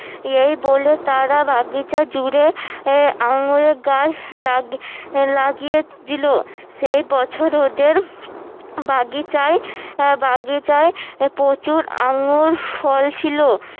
এই বলে তারা বাগিচা জুড়ে আহ আঙ্গুর গাছ~ গাছ লাগিয়ে দিলো সেই বছর ওদের বাগিচায় আহ বাগিচায় প্রচুর আঙ্গুর ফল ছিল